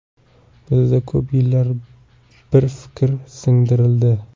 Bizda ko‘p yillar bir fikr singdirildi.